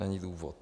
Není důvod.